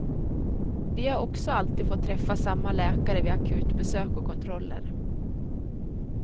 Vi har också alltid fått träffa samma läkare vid akutbesök och kontroller.